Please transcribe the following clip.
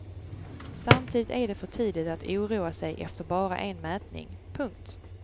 Samtidigt är det för tidigt att oroa sig efter bara en mätning. punkt